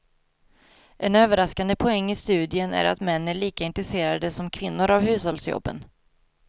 En överraskande poäng i studien är att män är lika intresserade som kvinnor av hushållsjobben.